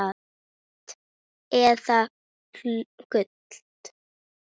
Rautt eða gult?